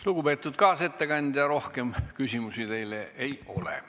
Lugupeetud kaasettekandja, rohkem küsimusi teile ei ole.